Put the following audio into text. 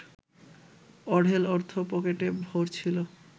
অঢেল অর্থ পকেটে ভরছিল